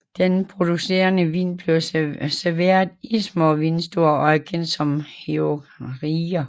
Den producerede vin bliver serveret i små vinstuer og er kendt som Heuriger